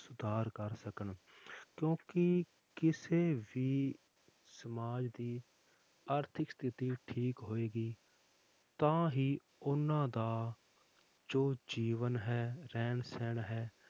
ਸੁਧਾਰ ਕਰ ਸਕਣ ਕਿਉਂਕਿ ਕਿਸੇ ਵੀ ਸਮਾਜ ਦੀ ਆਰਥਿਕ ਸਥਿਤੀ ਠੀਕ ਹੋਏਗੀ ਤਾਂ ਹੀ ਉਹਨਾਂ ਦਾ ਜੋ ਜੀਵਨ ਹੈ, ਰਹਿਣ ਸਹਿਣ ਹੈ,